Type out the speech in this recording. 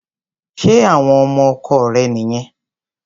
Ṣé àwọn ọmọ ọkọ rẹ̀ nìyẹn?